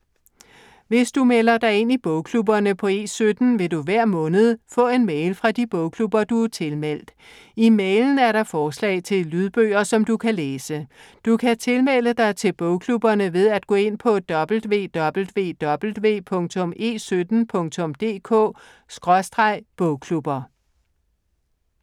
Hvis du melder dig ind i bogklubberne på E17, vil du hver måned få en mail fra de bogklubber, som du er tilmeldt. I mailen er der forslag til lydbøger, som du kan læse. Du kan tilmelde dig bogklubberne ved at gå ind på www.e17.dk/bogklubber